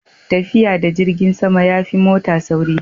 tafiya da jirgin sama ya fi mota sauri